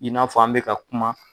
I n'a fɔ an be ka kuma